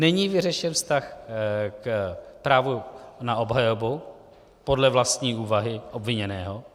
Není vyřešen vztah k právu na obhajobu podle vlastní úvahy obviněného.